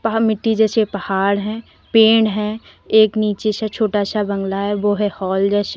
यहाँ मिट्टी जैसे पहाड़ हैं पेड़ है एक नीचे से छोटा सा बंगला है वो है हॉल जैसा।